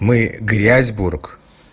мы грязьбург